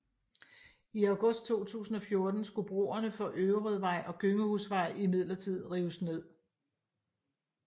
I august 2014 skulle broerne for Øverødvej og Gøngehusvej imidlertid rives ned